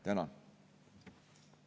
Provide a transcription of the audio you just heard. Tänan!